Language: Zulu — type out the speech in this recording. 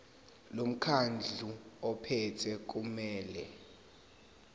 lomkhandlu ophethe kumele